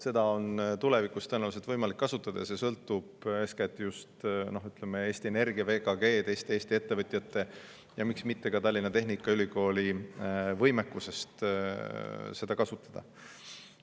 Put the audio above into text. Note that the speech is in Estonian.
Seda on tulevikus tõenäoliselt võimalik kasutada ja see sõltub eeskätt just Eesti Energia, VKG ja teiste Eesti ettevõtjate, miks mitte ka Tallinna Tehnikaülikooli võimekusest seda kasutada.